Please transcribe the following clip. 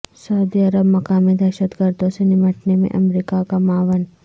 سعودی عرب مقامی دہشت گردوں سے نمٹنے میں امریکا کا معاون